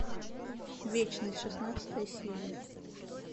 вечность шестнадцатая серия